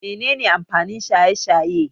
Mene ne amfanin shaye-shaye?